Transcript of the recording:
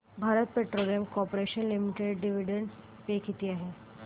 Bharat petroleum corporation limited dividend pay किती आहे